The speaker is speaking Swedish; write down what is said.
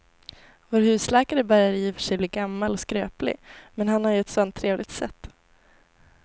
Vår husläkare börjar i och för sig bli gammal och skröplig, men han har ju ett sådant trevligt sätt!